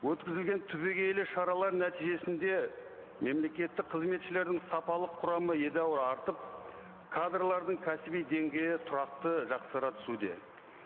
өткізілген түбегейлі шаралар нәтижесінде мемлекеттік қызметшілердің сапалық құрамы едәуір артып кадрлардың кәсіби деңгейі тұрақты жақсара түсуде